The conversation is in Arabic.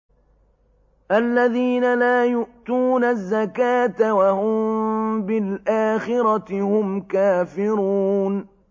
الَّذِينَ لَا يُؤْتُونَ الزَّكَاةَ وَهُم بِالْآخِرَةِ هُمْ كَافِرُونَ